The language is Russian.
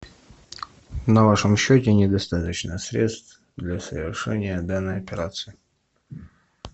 на вашем счете недостаточно средств для совершения данной операции